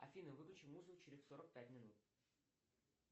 афина выключи музыку через сорок пять минут